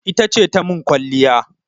Ita ce ta min kwalliya.